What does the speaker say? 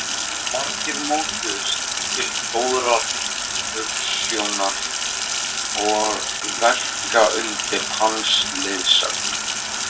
Margir mótuðust til góðrar hugsjónar og verka undir hans leiðsögn.